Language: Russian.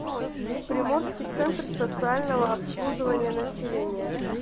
приморский центр социального обслуживания населения